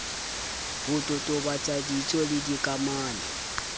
ho totobatsa ditso le dikamano